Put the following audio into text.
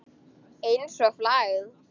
Einsog flagð.